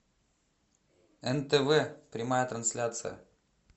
нтв прямая трансляция